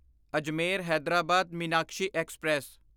Ajmer Hyderabad Meenakshi express